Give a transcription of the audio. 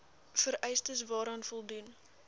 vereistes waaraan voldoen